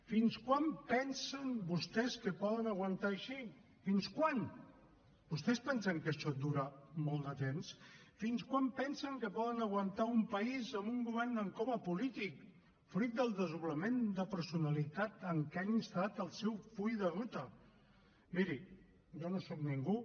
fins quan pensen vostès que poden aguantar així fins quan vostès pensen que això dura molt de temps fins quan pensen que poden aguantar un país amb un govern en coma polític fruit del desdoblament de personalitat en què han instal·lat el seu full de ruta miri jo no sóc ningú